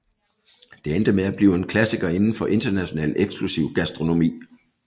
Det endte med at blive en klassiker inden for international eksklusiv gastronomi